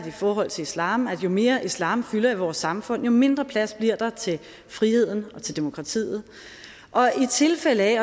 i forhold til islam at jo mere islam fylder i vores samfund jo mindre plads bliver der til friheden og til demokratiet og i tilfælde af